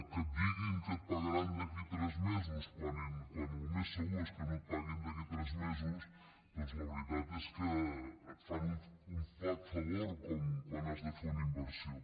que et diguin que et pagaran d’aquí a tres mesos quan el més segur és que no et paguin d’aquí a tres mesos doncs la veritat és que et fan un flac favor quan has de fer una inversió